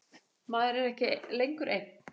Maður er ekki lengur einn.